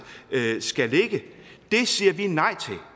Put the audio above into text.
skal ligge det siger vi nej til